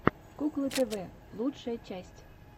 куклы тв лучшая часть